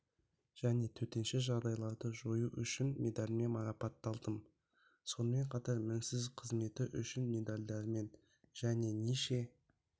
және төтенше жағдайларды жою үшін медальімен марапатталдым сонымен қатар мінсіз қызметі үшін медальдарымен және неше